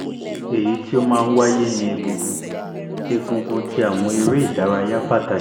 eyi ti o maa n waye ni egungun egungun ni awọn ere idaraya pataki